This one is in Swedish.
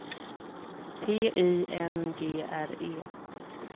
T Y N G R E